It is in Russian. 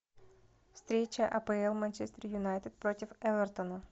встреча апл манчестер юнайтед против эвертона